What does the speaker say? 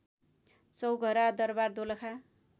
Chaughara Darbar Dolakha